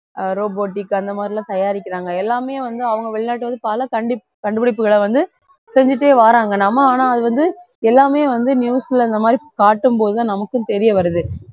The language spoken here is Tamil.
ஆஹ் robotic அந்த மாதிரிலாம் தயாரிக்கிறாங்க எல்லாமே வந்து அவங்க வெளிநாட்டுல வந்து பல கண்டி~ கண்டுபிடிப்புகளை வந்து, செஞ்சிட்டே வராங்க நம்ம ஆனா அது வந்து எல்லாமே வந்து news ல இந்த மாதிரி காட்டும்போது தான் நமக்கும் தெரிய வருது